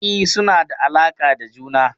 E, suna da alaƙa da juna.